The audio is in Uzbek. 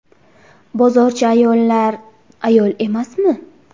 Bozorchi ayollar ayol emasmi?